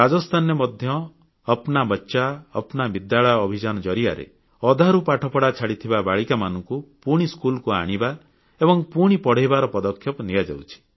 ରାଜସ୍ଥାନରେ ମଧ୍ୟ ଅପ୍ନା ବଚ୍ଚା ଅପ୍ନା ବିଦ୍ୟାଳୟ ଅଭିଯାନ ଜରିଆରେ ଅଧାରୁ ପାଠପଢ଼ା ଛାଡ଼ିଥିବା ବାଳିକାମାନଙ୍କୁ ପୁଣି ସ୍କୁଲକୁ ଆଣିବା ଏବଂ ପୁଣି ପଢ଼େଇବାର ପଦକ୍ଷେପ ନିଆଯାଇଛି